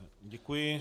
Děkuji.